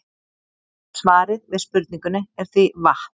Svarið við spurningunni er því vatn.